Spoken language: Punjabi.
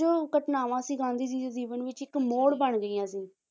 ਜੋ ਘਟਨਾਵਾਂ ਸੀ ਗਾਂਧੀ ਜੀ ਦੇ ਜੀਵਨ ਵਿੱਚ ਇੱਕ ਮੋੜ ਬਣ ਗਈਆਂ ਸੀ